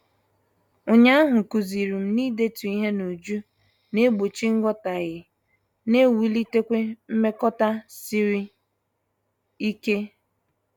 Ụnyaahụ kụzirim na-idetu ihe n'uju na- egbochi nghotaghie na ewulitekwa mmekota sịrị ike.